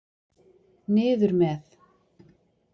Niður með.